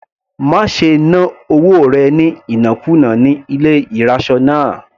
Má ṣe ná owó rẹ̀ ní ìnákùná ní ilé ìraṣọ náà.